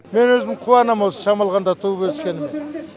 мен өзім қуанам осы шамалғанда туып өскеніме